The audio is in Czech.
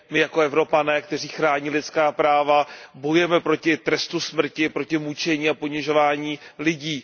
My jako Evropané, kteří chrání lidská práva, bojujeme proti trestu smrti, proti mučení a ponižování lidí.